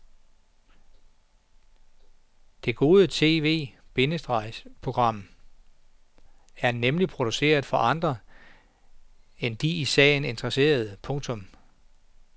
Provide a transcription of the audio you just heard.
Det gode tv- bindestreg program er nemlig produceret for andre end de i sagen interesserede. punktum